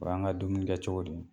O y'an ka dumuni kɛcogo de ye